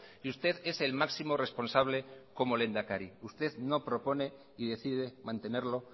y usted es el máximo responsable como lehendakari usted no propone y decide mantenerlo